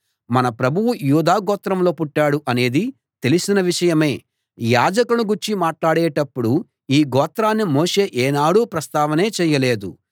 మన ప్రభువు యూదా గోత్రంలో పుట్టాడు అనేది తెలిసిన విషయమే యాజకులను గూర్చి మాట్లాడేటప్పుడు ఈ గోత్రాన్ని మోషే ఏనాడూ ప్రస్తావనే చేయలేదు